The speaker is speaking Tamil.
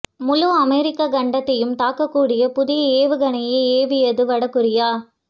முழு அமெரிக்க கண்டத்தையும் தாக்கக்கூடிய புதிய ஏவுகணையை ஏவியது வட கொரியா